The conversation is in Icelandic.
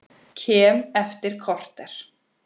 Kem eftir korter!